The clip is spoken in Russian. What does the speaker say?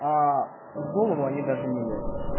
в голову они даже не лезут